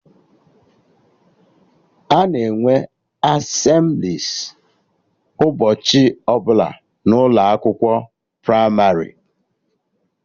Ana enwe Asemblịes ụbọchị ọbụla n'ụlọ akwụkwọ pramarị